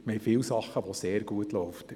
Es gibt viele Dinge, welche sehr gut laufen.